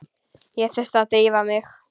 Ég þurfti að drífa mig.